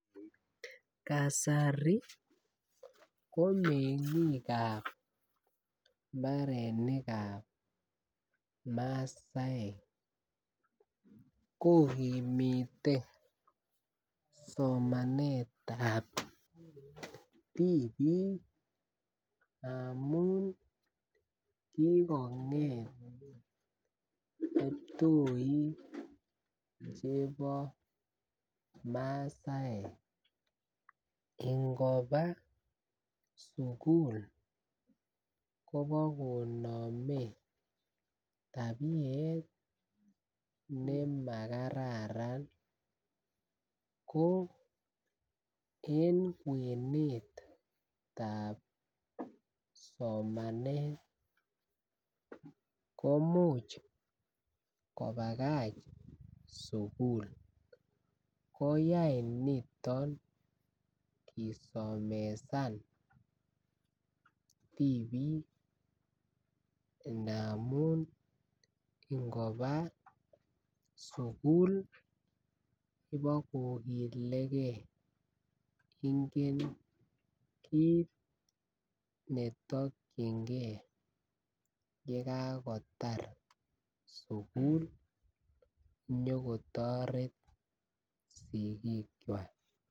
Kasari komengikab mbarenikab masaek kokimite somanetab tipik amun kikonget kiptoik chebo masaek ngoba sukul Kobo konome tabiet nemakararan ko en kwenutab somanet komuch kobakach sukul koyoe niton kisomesan tipik ndamun ngoba sukul ibokokilegee ingen kit netokingee yekakotar sukul nyokotoret sikik kwak.